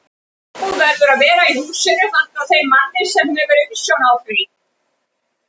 Íbúð verður að vera í húsinu handa þeim manni, er hefur umsjón á því.